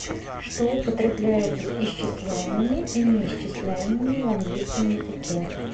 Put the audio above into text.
что употребляется с исчисляемыми и неисчисляемыми в английском языке